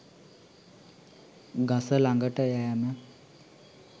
ගස ළඟට යෑම